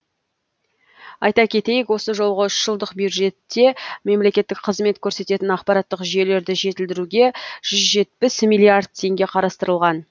айта кетейік осы жолғы үш жылдық бюджетте мемлекеттік қызмет көрсететін ақпараттық жүйелерді жетілдіруге жүз жетпіс миллиард теңге қарастырылған